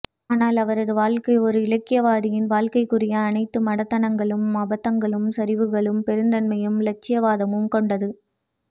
ஆனால் அவரது வாழ்க்கை ஒர் இலக்கியவாதியின் வாழ்க்கைக்குரிய அனைத்து மடத்தனங்களும் அபத்தங்களும் சரிவுகளும் பெருந்தன்மையும் இலட்சியவாதமும் கொண்டது